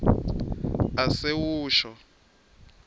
asewusho